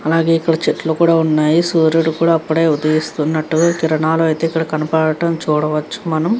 అలాగే ఇక్కడ చెట్లు కూడా ఉన్నాయి. సూర్యుడు కూడా అప్పుడే ఉదయిస్తునట్టుగా కిరణాలు అయితే ఇక్కడ కనపడటం చూడవచ్చు మనం.